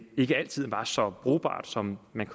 ikke altid var så brugbart som man